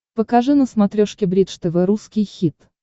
покажи на смотрешке бридж тв русский хит